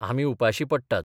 आमी उपाशीं पडटात.